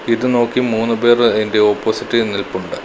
ഇത് നോക്കി മൂന്ന് പേർ അയിന്റെ ഓപ്പോസിറ്റ് നിൽപ്പുണ്ട്.